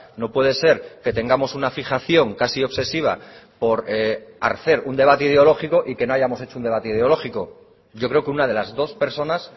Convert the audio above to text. no puede ser que tengamos una fijación casi obsesiva por hacer un debate ideológico y que no hayamos hecho un debate ideológico yo creo que una de las dos personas